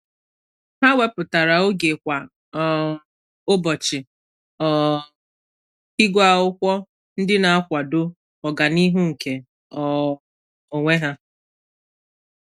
Há wépụ́tara oge kwa um ụ́bọ̀chị̀ um ígụ́ ákwụ́kwọ́ ndị nà-àkwàdò ọ́gànihu nke um onwe ha.